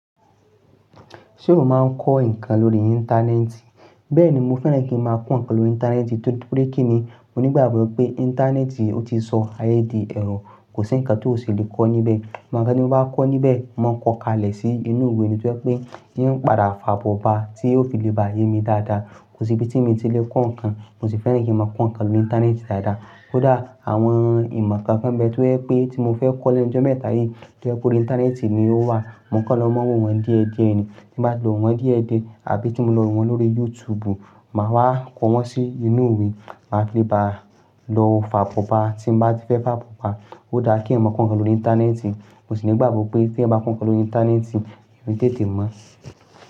Ṣé o máa ń kọ́ ǹkan lórí íńtánẹ́ẹ̀tì? Bẹ́ẹ̀ni, mo fẹ́ràn kí n máa kọ́ ǹkan lórí íńtánẹ́ẹ̀tì torí kí ni, mo nígbàgbọ́ pé íńtánẹ́ẹ̀tì ó ti sọ ayé di ẹ̀rọ, kò sí ǹkan tí oò ṣi lè kọ́ níbẹ̀. Ìmọ̀ nkan tí mo bá kọ́ níbẹ̀, mo mon kọ́ kalẹ̀ sí inú ìwé ni, tó jẹ́ pé iń padà fàbọ̀ ba tí yóò fi lè bá yé mi dáadáa. Kò sí ibi tí miì ti lè kọ́ ǹkan, mo sì fẹ́ràn kí n máa kọ́ ǹkan lórí íńtánẹ́ẹ̀tì dáadáa. Kódà àwọn ìmọ̀ kan kan bẹ̀ tí ó jẹ́ pé tí mo fẹ́ kọ́ lẹ́nu ojọ́ mẹ́ta yìí tí ó jẹ́ pé orí íńtánẹ́ẹ̀tì ni ó wà, mo kan lo máa ń wò wọ́n díẹ̀díẹ̀ ni. Bí mo bá ti lo wò wọ́n díẹ̀díẹ̀ àbí tí mo lọ wọ́n lórí YouTube, màá wá kọ́ wọn sí inú ìwé, màá fi lè bá lọ fàbọ̀ ba tí n bá ti fẹ́ fàbọ̀ ba. Ó dá k'èyàn mọ̀ ó kọ́ ǹkan lórí íńtánẹ́ẹ̀tì, mo sì nígbàgbọ́ pé tí ẹyan bá kọ́ ǹkan lórí íńtánẹ́ẹ̀tì, èyàn o tètè mọ́.